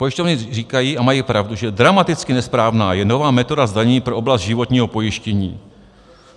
Pojišťovny říkají, a mají pravdu, že dramaticky nesprávná je nová metoda zdanění pro oblast životního pojištění.